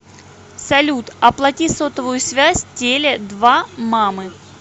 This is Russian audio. салют оплати сотовую связь теле два мамы